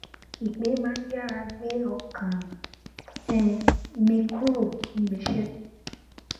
ìpè má n yára gbé ọkàm um mi kúrò níbi iṣẹ